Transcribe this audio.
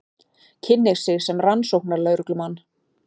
Kynnir sig sem rannsóknarlögreglumann.